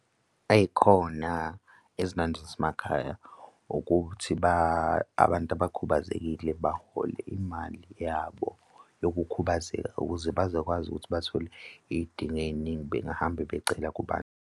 Ey'khona ezimnandi zasemakhaya ukuthi abantu abakhubazekile bahole imali yabo yokukhubazeka ukuze bazokwazi ukuthi bathole iy'dingo ey'ningi bengahamba becela kubantu.